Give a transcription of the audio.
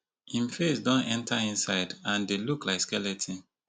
im face don enta inside and dey look like skeleton